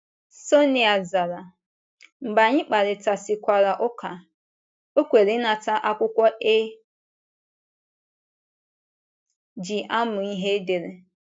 Sonia zara, mgbe anyị kparịtasịkwara ụka, o kweere ịnata akwụkwọ e ji amụ ihe edere.